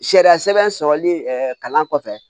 Sariya sɛbɛn sɔrɔli kalan kɔfɛ